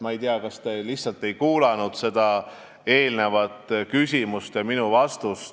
Ma ei tea, kas te lihtsalt ei kuulanud minu vastust eelmisele küsimusele ...